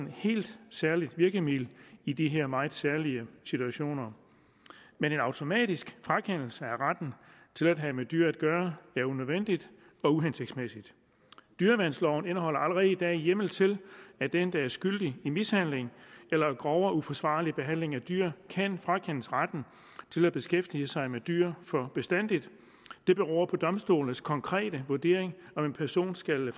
helt særligt virkemiddel i de her meget særlige situationer men en automatisk frakendelse af retten til at have med dyr at gøre er unødvendig og uhensigtsmæssig dyreværnsloven indeholder allerede i dag hjemmel til at den der er skyldig i mishandling eller grov og uforsvarlig behandling af dyr kan frakendes retten til at beskæftige sig med dyr for bestandig det beror på domstolenes konkrete vurdering om en person skal